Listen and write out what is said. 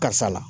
Karisa la